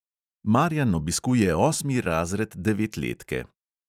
Marjan obiskuje osmi razred devetletke.